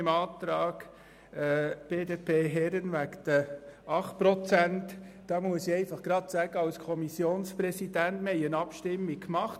Zum Antrag BDP/Herren auf Kürzung um 8 Prozent: Darüber hat die Kommission vor acht Tagen abgestimmt.